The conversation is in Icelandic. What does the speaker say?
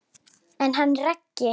En hann Raggi?